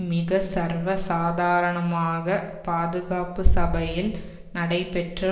மிக சர்வ சாதாரணமாக பாதுகாப்பு சபையில் நடைபெற்ற